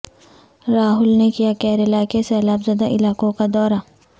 راہل نے کیا کیرالہ کے سیلاب زدہ علاقوں کا دورہ